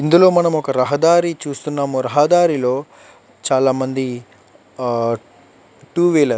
ఇందులో మనము ఒక రహదారి చూస్తున్నాము రహదారిలో చాల మంది ఆహ్ టూ వీలర్ --